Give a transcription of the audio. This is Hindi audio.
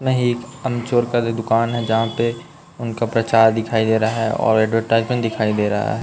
नहीं एक अमचूर का जो दुकान हैं। जहाँ पे उनका प्रचार दिखाई दे रहा है। और एडवरटाइजमेंट दिखाई दे रहा है।